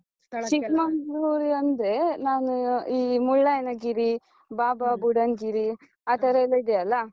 ಚಿಕ್ಮಂಗ್ಳೂರು ಅಂದ್ರೆ, ನಾನು ಈ ಮುಳ್ಳಯ್ಯನಗಿರಿ , ಬಾಬಾ ಬುಡನ್ ಗಿರಿ ಆತರ ಎಲ್ಲ ಇದೆ ಅಲ್ಲ?